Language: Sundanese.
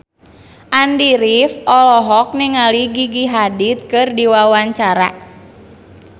Andy rif olohok ningali Gigi Hadid keur diwawancara